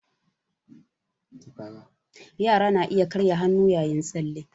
Yara na iya karya hannu yayin tsalle